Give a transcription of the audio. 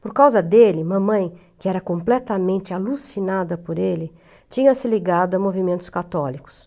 Por causa dele, mamãe, que era completamente alucinada por ele, tinha se ligado a movimentos católicos.